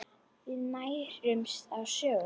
Við nærumst á sögum.